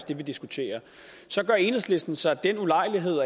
det vi diskuterer så gør enhedslisten sig den ulejlighed